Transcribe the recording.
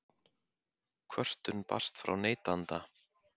Kvörtun barst frá neytanda